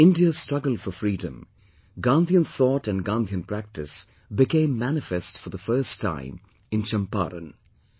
In India's struggle for freedom, Gandhian thought and Gandhian practice became manifest for the first time in Champaran